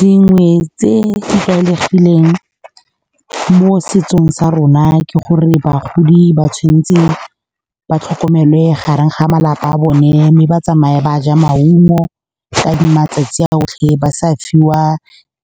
Dingwe tse di tlwaelegileng mo setsong sa rona ke gore bagodi ba tshwanetse ba tlhokomelwe gareng ga malapa a bone, mme ba tsamaya ba ja maungo ka matsatsi a otlhe, ba sa fiwa